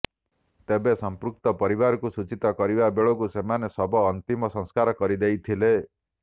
ତେବେ ସମ୍ପୃକ୍ତ ପରିବାରକୁ ସୂଚିତ କରିବା ବେଳେକୁ ସେମାନେ ଶବ ଅନ୍ତିମ ସଂସ୍କାର କରିଦେଇଥିଲେ